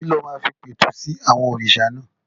Kí ló máa fi pẹ̀tù sí àwọn òrìṣà náà?